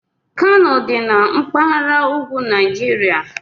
Kano dị na mpaghara ugwu Nigeria